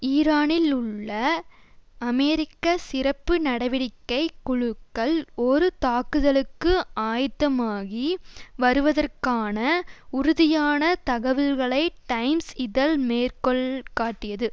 ஈரானிள்ளுள்ள உள்ள அமெரிக்க சிறப்பு நடவடிக்கை குழுக்கள் ஒரு தாக்குதலுக்கு ஆயத்தமாகி வருவதற்கான உறுதியான தகவல்களை டைம்ஸ் இதழ் மேற்கொள் காட்டியது